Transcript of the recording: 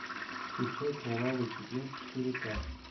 включай кровавый четверг четыре ка